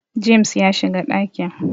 James ya shiga dakin